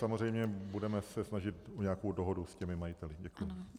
Samozřejmě budeme se snažit o nějakou dohodu s těmi majiteli.